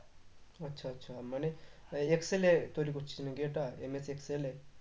আচ্ছা আচ্ছা মানে excel এ তৈরি করছিস নাকি এটা MS excel এ?